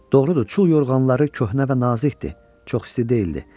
Doğrudur, çul yorğanları köhnə və nazikdir, çox isti deyildi.